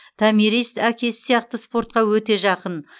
томирис әкесі сияқты спортқа өте жақын